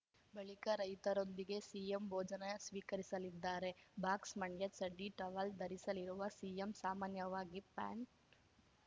ಬಳಿಕ ರೈತರೊಂದಿಗೇ ಸಿಎಂ ಭೋಜನ ಸ್ವೀಕರಿಸಲಿದ್ದಾರೆ ಬಾಕ್ಸ್‌ ಮಂಡ್ಯ ಚಡ್ಡಿ ಟವೆಲ್‌ ಧರಿಸಲಿರುವ ಸಿಎಂ ಸಾಮಾನ್ಯವಾಗಿ ಪ್ಯಾಂಟ್‌